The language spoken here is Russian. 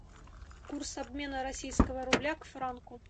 курс обмена российского рубля к франку